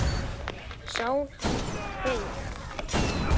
Sál hans er feig.